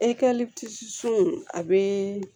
a bɛ